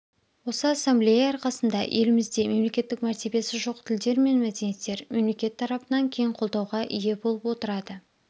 осы ассамблея арқасында елімізде мемлекеттік мәртебесі жоқ тілдер мен мәдениеттер мемлекет тарапынан кең қолдауға ие болып отырады